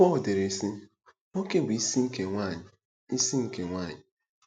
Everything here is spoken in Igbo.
Pọl dere, sị: “Nwoke bụ isi nke nwaanyị.” isi nke nwaanyị.”